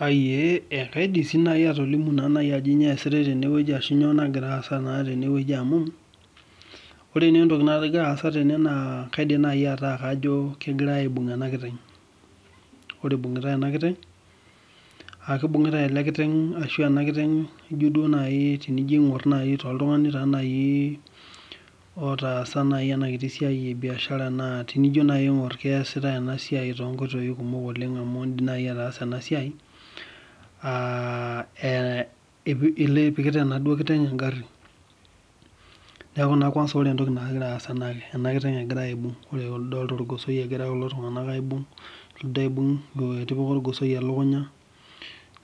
Ee kaidim nai atolimu ajo kanyio nagira aasa tene amu ore entoki nagira aasa tene nakaidim nai atejo kegirai aibung enakiteng ore nai enakiteng aa kibungutae enamiteng tenijo aingur toltunganj nai otaasa enasia ebiashara tenijo nai aingur keasitae enasia tonkoitoi sidan amu indim ataasa ipikita enakiteng engari neaku ore entoki nagira aasa na emakiteng egirai aibung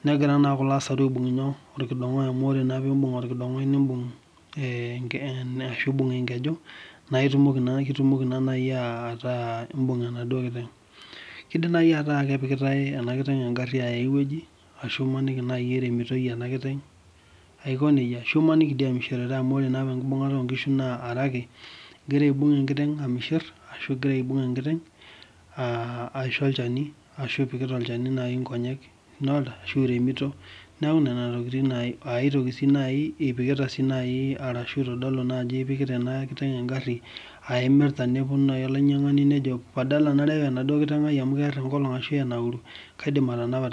negira na kuna aibung orkidongoe amu nimbung orkidongoe arashu imbung enkeju na itumoki ataa imbung enaduo kiteng arashu imaniki nai eremotoi inakiteng aiko nejia ashu amu ore apa enkibungata enkiteng na are ake amirmshir ashu ingira apik olchani nkonyek ashu iremito neaku ina tokitin aai toki ashu ipikita enakiteng engari aimirta nelotu olamirani ajo kaidim atanapa.